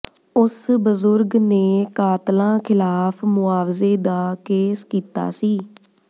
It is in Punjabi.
ਉਸ ਬਜ਼ੁਰਗ ਨੇ ਕਾਤਲਾਂ ਖਿਲਾਫ ਮੁਆਵਜ਼ੇ ਦਾ ਕੇਸ ਕੀਤਾ ਸੀ